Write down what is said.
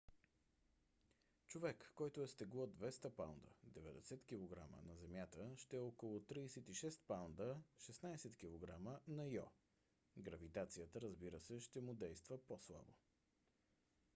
човек който е с тегло 200 паунда 90 кг на земята ще е около 36 паунда 16 кг на йо. гравитацията разбира се ще му действа по-слабо